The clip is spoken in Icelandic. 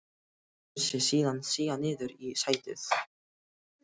Lætur sig síðan síga niður í sætið.